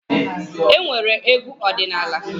E nwere Egwu ọdịnaala.